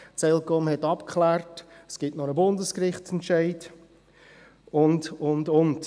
die ElCom habe es abgeklärt, es gebe nur einen Bundesgerichtsentscheid, und, und, und.